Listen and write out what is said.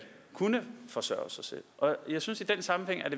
kunne forsørge sig selv jeg synes i den sammenhæng at